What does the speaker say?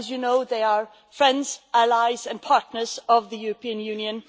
As you know, they are friends, allies and partners of the European Union.